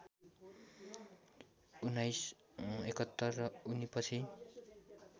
१९७१ र उनीपछि